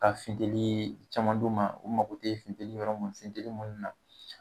Ka finteli caman d'u ma o mako tɛ finteni yɔrɔ mun na, finteli yɔrɔ minnu na .